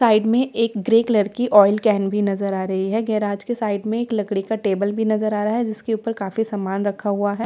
Side में एक grey colour की ऑयल कैन भी नजर आ रही है गैराज के साइड में एक लकड़ी का टेबल भी नजर आ रहा है जिसके ऊपर काफी सामान रखा हुआ है।